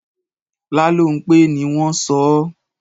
Lálónpé ni wọ́n sọ ọ́.